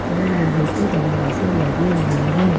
और लोहे के दरवाजे लगे हुए हैं।